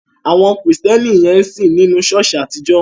Àwọn Kristẹni yẹn ń sìn nínu ṣọ̀ọ́sì àtijọ́.